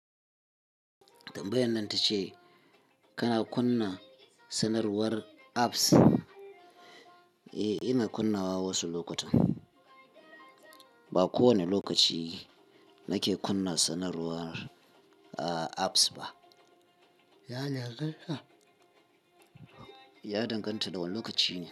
Tambayan nan ta ce kana kunna sanarwar apps? Eh, ina kunnawa wasu lokutan. Ba kowane lokaci nake kunna sanarwar, a, apps ba. Ya danganta. Ya danganta da wane lokaci ne.